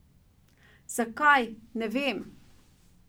Zakaj, ne vem.